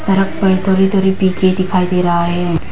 सड़क पर थोड़ी थोड़ी दिखाई दे रहा है।